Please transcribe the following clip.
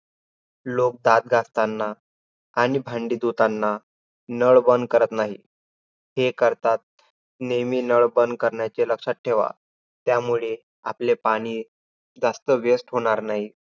लोक दात घासतांना आणि भांडी धुतांना नळ बंद करत नाहीत, हे करतात नेहमी नळ बंद करण्याचे लक्षात ठेवा. त्यामुळे आपले पाणी जास्त waste होणार नाहीत.